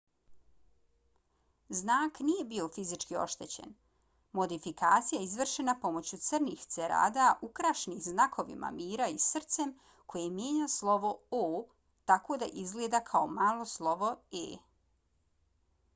znak nije bio fizički oštećen. modifikacija je izvršena pomoću crnih cerada ukrašenih znakovima mira i srcem koje mijenja slovo o tako da izgleda kao malo slovo e